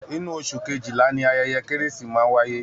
Inú oṣù kejila ni ayẹyẹ kérésì máa ń wáyé